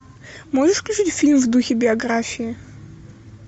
можешь включить фильм в духе биографии